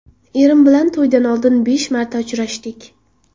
Erim bilan to‘ydan oldin besh marta uchrashdik.